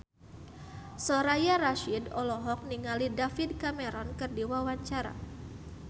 Soraya Rasyid olohok ningali David Cameron keur diwawancara